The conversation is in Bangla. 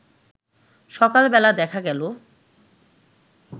সকালবেলা দেখা গেল